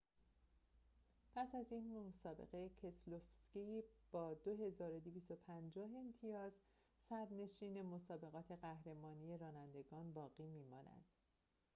پس از این مسابقه کسلوفسکی با ۲۲۵۰ امتیاز صدرنشین مسابقات قهرمانی رانندگان باقی می‌ماند